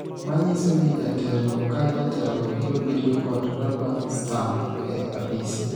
manyiso ni jatelo ka jatelo biro bedo kod raba stam e apise